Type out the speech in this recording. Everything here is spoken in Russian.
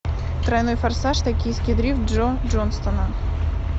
тройной форсаж токийский дрифт джо джонстона